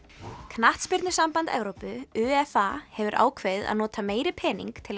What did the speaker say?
knattspyrnusamband Evrópu UEFA hefur ákveðið að nota meiri pening til